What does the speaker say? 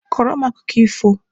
Kọrọ m akụkọ ifo!